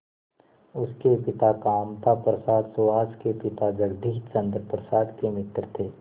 उसके पिता कामता प्रसाद सुहास के पिता जगदीश चंद्र प्रसाद के मित्र थे